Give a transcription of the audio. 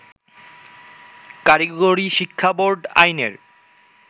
কারিগরি শিক্ষাবোর্ড আইনের